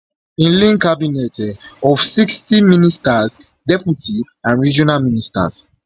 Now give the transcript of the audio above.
im lean cabinet um of sixty ministers deputy and regional ministers